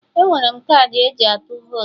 Enwere m kaadị eji atụ votu